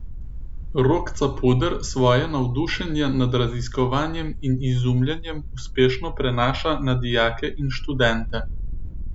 Rok Capuder svoje navdušenje nad raziskovanjem in izumljanjem uspešno prenaša na dijake in študente.